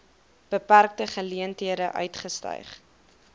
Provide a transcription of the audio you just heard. beperkte geleenthede uitgestyg